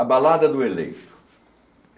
A Balada do Eleito.